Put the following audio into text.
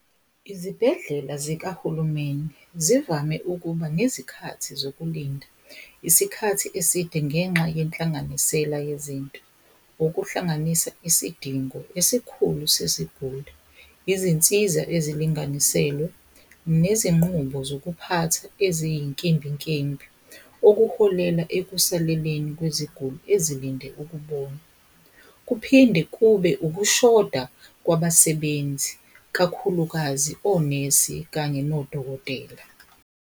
Izibhedlela zikahulumeni zivame ukuba nezikhathi zokulinda isikhathi eside ngenxa yenhlanganisela yezinto. Okuhlanganisa isidingo esikhulu sesiguli. Izinsiza ezilinganiselwe nezinqubo zokuphatha eziyinkimbinkimbi, okuholela ekusoleleni kweziguli ezilinde ukubona. Kuphinde kube ukushoda kwabasebenzi kakhulukazi onesi kanye nodokotela.